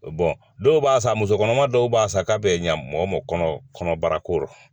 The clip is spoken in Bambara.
dɔw b'a san musokɔnɔma dɔw b'a san k'a bɛ ɲa mɔgɔ ma kɔnɔbara ko rɔ